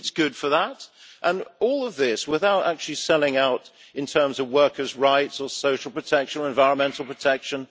It is good for that, and all of this comes without actually selling out in terms of workers' rights, or social or environmental protection.